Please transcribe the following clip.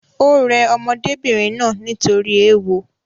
Ò rẹ ọmọdébìnrin náà nítorí ééwo